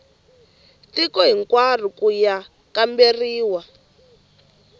tiko hinkwaro ku ya kamberiwa